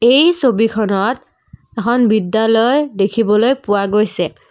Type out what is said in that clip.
এই ছবিখনত এখন বিদ্যালয় দেখিবলৈ পোৱা গৈছে।